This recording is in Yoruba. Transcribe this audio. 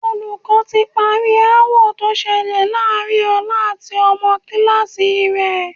Olùkọ́ ti parí aáwọ̀ tó ṣẹlẹ̀ láàárín Ọlá àti ọmọ kíláàsì rẹ̀